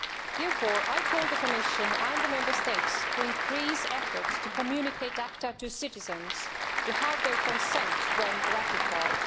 Therefore, I call on the Commission and the Member States to increase efforts to communicate ACTA to citizens and to seek their consent when it is ratified.